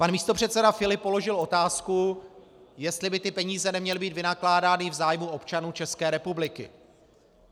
Pan místopředseda Filip položil otázku, jestli by ty peníze neměly být vynakládány v zájmu občanů České republiky.